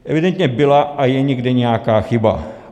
Evidentně byla a je někde nějaká chyba.